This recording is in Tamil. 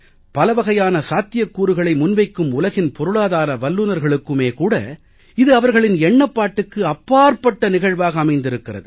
பலவகையான சாத்தியக்கூறுகளை முன்வைக்கும் உலகின் பொருளாதார வல்லுனர்களுக்குமே கூட இது அவர்களின் எண்ணப்பாட்டுக்கு அப்பாற்பட்ட நிகழ்வாக அமைந்திருக்கிறது